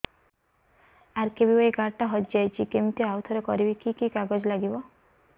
RKBY card ଟା ହଜିଯାଇଛି କିମିତି ଆଉଥରେ କରିବି କି କି କାଗଜ ଲାଗିବ